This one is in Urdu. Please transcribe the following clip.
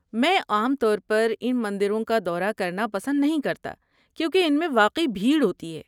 میں عام طور پر ان مندروں کا دورہ کرنا پسند نہیں کرتا کیونکہ ان میں واقعی بھیڑ ہوتی ہے۔